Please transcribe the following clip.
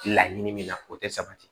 Laɲini min na o tɛ sabati